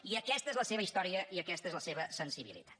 i aquesta és la seva història i aquesta és la seva sensibilitat